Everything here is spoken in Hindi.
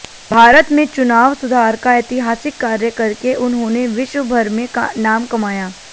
भारत में चुनाव सुधार का ऐतिहासिक कार्य करके उन्होंने विश्व भर में नाम कमाया